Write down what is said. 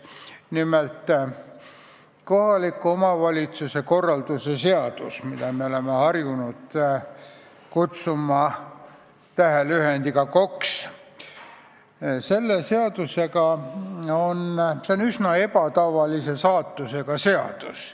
Nimelt, kohaliku omavalitsuse korralduse seadus, mida me oleme harjunud kutsuma lühendiga KOKS, on üsna ebatavalise saatusega seadus.